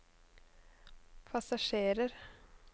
passasjerer